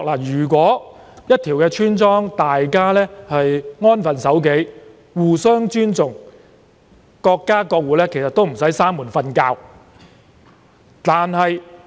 如果一條村莊的村民能安分守己、互相尊重，各家各戶其實無需關門睡覺。